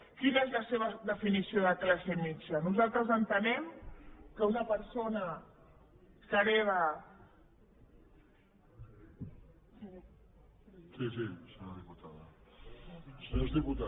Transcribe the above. quina és la seva definició de classe mitjana nosaltres entenem que una persona que hereta